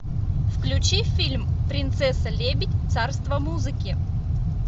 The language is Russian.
включи фильм принцесса лебедь царство музыки